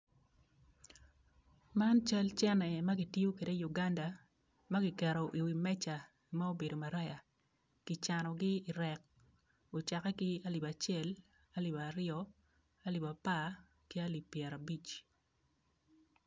Man, cal cene ma kitiyokwede i uganda ma ki keketo i wi meja ma obedo maraya ki canogi i rek, ocakke ki i alip acel, alip aryo, alip apar, ki alip pyerabic.